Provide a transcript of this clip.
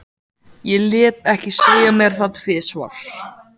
Ég lét ekki segja mér það tvisvar.